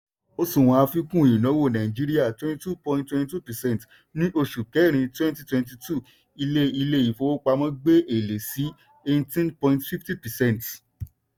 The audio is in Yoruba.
òṣùwọ̀n àfikún ìnáwó nàìjíríà 22.22 percent ní oṣù kẹrin 2022 ilé ilé ìfowópamọ́ gbé èlé sí 18.50 percent.